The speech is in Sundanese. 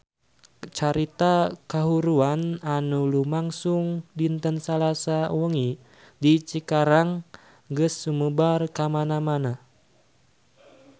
Carita kahuruan anu lumangsung dinten Salasa wengi di Cikarang geus sumebar kamana-mana